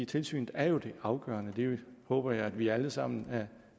tilsynet er jo det afgørende det håber jeg at vi alle sammen er